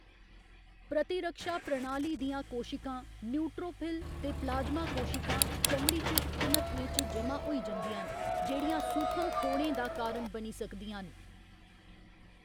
प्रतिरक्षा प्रणाली दियां कोशिकां, न्यूट्रोफिल ते प्लाज्मा कोशिकां, चमड़ी च, घनत्वें च जमा होई जंदियां न, जेह्‌‌ड़ियां सूखम फोड़ें दा कारण बनी सकदियां न।